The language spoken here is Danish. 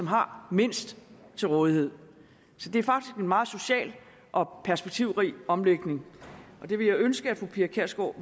har mindst til rådighed så det er faktisk en meget social og perspektivrig omlægning jeg ville ønske at fru pia kjærsgaard